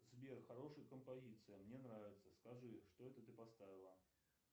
сбер хорошая композиция мне нравится скажи что это ты поставила